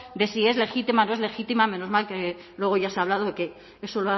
de si es legítima o no es legítima menos mal que luego ya se ha hablado de que eso